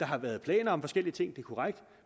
der har været planer om forskellige ting det er korrekt